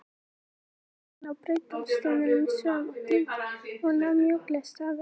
Lestin rann inná brautarstöðina með sogum og dynkjum og nam mjúklega staðar.